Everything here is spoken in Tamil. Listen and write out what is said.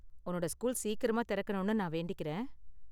உன்னோட ஸ்கூல் சீக்கிரமா திறக்கணும்னு நான் வேண்டிக்கிறேன்.